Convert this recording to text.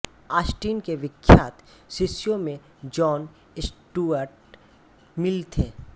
Austen के विख्यात शिष्यों में जॉन स्टुअर्ट मिल थे